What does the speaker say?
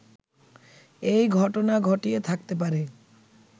এই ঘটনা ঘটিয়ে থাকতে পারে